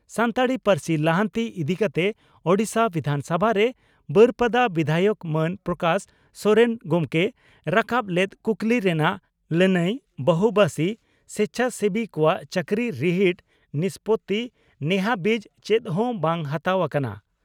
ᱥᱟᱱᱛᱟᱲᱤ ᱯᱟᱹᱨᱥᱤ ᱞᱟᱦᱟᱱᱛᱤ ᱤᱫᱤᱠᱟᱛᱮ ᱳᱰᱤᱥᱟ ᱵᱤᱫᱷᱟᱱᱥᱚᱵᱷᱟᱨᱮ ᱵᱟᱹᱨᱯᱟᱫᱟ ᱵᱤᱫᱷᱟᱭᱚᱠ ᱢᱟᱱ ᱯᱨᱚᱠᱟᱥ ᱥᱚᱨᱮᱱ ᱜᱚᱢᱠᱮ ᱨᱟᱠᱟᱵ ᱞᱮᱫ ᱠᱩᱠᱞᱤ ᱨᱮᱱᱟᱜ ᱞᱟᱹᱱᱟᱹᱭ ᱵᱚᱦᱩᱵᱟᱥᱤ ᱥᱮᱪᱷᱟᱥᱮᱵᱤ ᱠᱚᱣᱟᱜ ᱪᱟᱹᱠᱨᱤ ᱨᱤᱦᱤᱴ ᱱᱤᱥᱯᱳᱛᱤ ᱱᱮᱦᱟᱹᱵᱤᱡ ᱪᱮᱫ ᱦᱚᱸ ᱵᱟᱝ ᱦᱟᱛᱟᱣ ᱟᱠᱟᱱᱟ